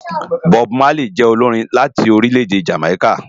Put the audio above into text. Bob Marley jè ólórin láti órilè-èdé Jámáiká